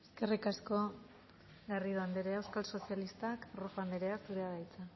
eskerrik asko garrido andrea euskal sozialista rojo andrea zurea da hitza